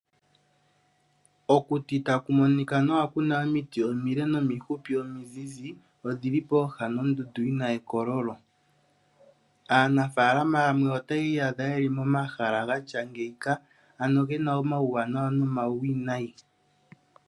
Okuti ta kumonika nawa kuna omiti omile nomifupi omizizi, odhi li pooha nondundu yi na ekololo. Aanafalama yamwe otaya iyadha yeli gatya ngeyika, ano gena omawuwanawa nomawuwinayi.